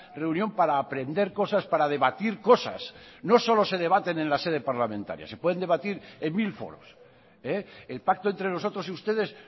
reunión para aprender cosas para debatir cosas no solo se debaten en la sede parlamentaria se pueden debatir en mil foros el pacto entre nosotros y ustedes